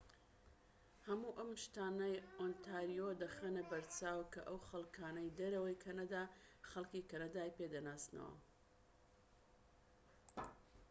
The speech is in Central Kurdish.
هەموو ئەم شتانە ئۆنتاریۆ دەخەنە بەرچاو کە ئەو خەڵکانەی دەرەوەی کەنەدا خەلکی کەنەدای پێدەناسنەوە